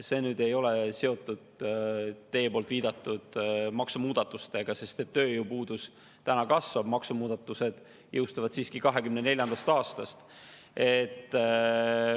See ei ole seotud teie viidatud maksumuudatustega, sest tööpuudus kasvab täna, aga maksumuudatused jõustuvad siiski 2024. aastast.